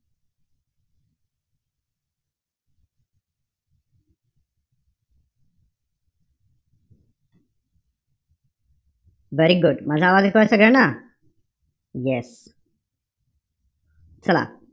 Very good माझा आवाज येतोय सगळ्यांना? yes चला.